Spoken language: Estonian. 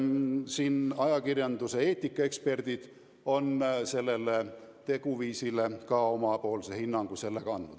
" Nii et ajakirjanduseetika eksperdid on sellele teguviisile ka omapoolse hinnangu andnud.